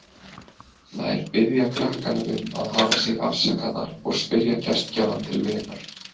Þær biðja krakkana um að hafa sig afsakaðar og spyrja gestgjafann til vegar.